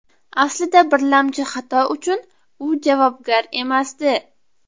Aslida birlamchi xato uchun u javobgar emasdi.